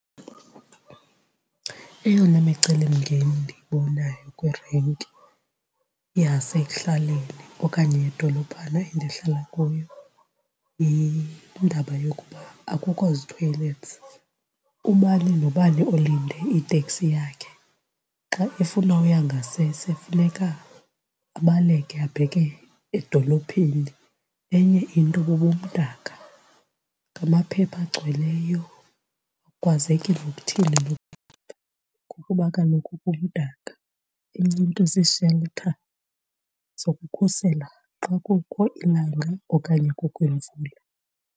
Eyona micelimngeni endiyibonayo kwirenki yasekuhlaleni okanye yedolophana endihlala kuyo yindaba yokuba akukho zi-toilets, ubani nobani olinde iteksi yakhe xa efuna uya ngasese funeka abaleke abheke edolophini. Enye into bubumdaka, ngamaphepha agcweleyo, akukwazeki nokuthini ngokuba kaloku kumdaka. Enye into zii-shelter zokukhusela xa kukho ilanga okanye kukho imvula.